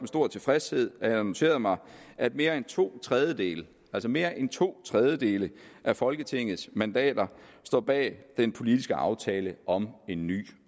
stor tilfredshed at jeg har noteret mig at mere end to tredjedele altså mere end to tredjedele af folketingets mandater står bag den politiske aftale om en ny